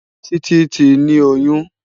Titi ti ni óyùn